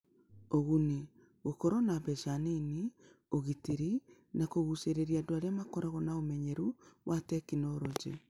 Ũguni: Gũkorũo na mbeca nini, ũgitĩri, na kũgucĩrĩria andũ arĩa makoragwo na ũmenyeru wa tekinolonjĩ.